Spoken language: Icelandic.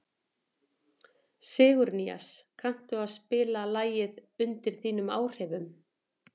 Sigurnýas, kanntu að spila lagið „Undir þínum áhrifum“?